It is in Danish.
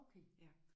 Okay